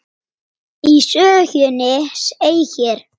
Í sögunni segir: